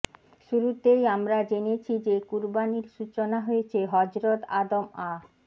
শুরুতেই আমরা জেনেছি যে কুরবানির সূচনা হয়েছে হযরত আদম আ